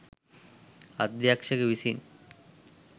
අධ්‍යක්ෂක විසින්.